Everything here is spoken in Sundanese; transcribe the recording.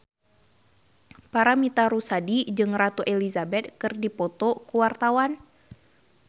Paramitha Rusady jeung Ratu Elizabeth keur dipoto ku wartawan